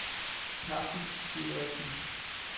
Carsten Dideriksen